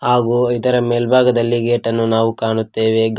ಹಾಗು ಇದರ ಮೇಲ್ಭಾಗದಲ್ಲಿ ಗೇಟನ್ನು ನಾವು ಕಾಣುತ್ತೇವೆ ಗಾ--